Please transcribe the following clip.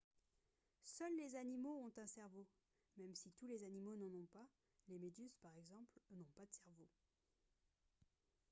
seuls les animaux ont un cerveau même si tous les animaux n’en ont pas ; les méduses par exemple n’ont pas de cerveau